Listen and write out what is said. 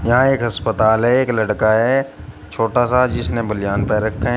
यहां एक अस्पताल है एक लड़का है छोटा सा जिसने बनियान पहन रखे है।